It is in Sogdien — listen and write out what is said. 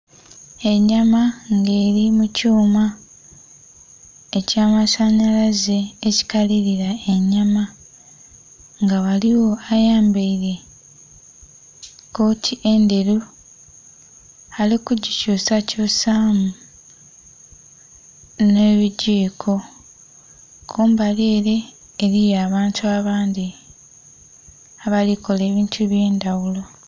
Enyama nga eri mu kyoma ekya masanhalaze ekikalilila enyama nga ghaligho ayambaire kooti endheru ali kugi kyusa kyusamu nhe bigiiko. Kumbali ere eriyo abantu abandhi abali kola ebintu ebye ndhaghulo.